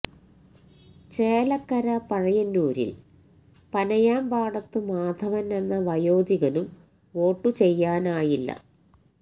ചേലക്കര പഴയന്നൂരിൽ പനയാംപാടത്ത് മാധവൻ എന്ന വയോധികനും വോട്ടു ചെയ്യാനായില്ല